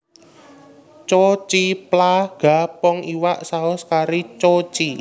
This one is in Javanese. Choo Chee Plah Ga Pong iwak saus kari choo chee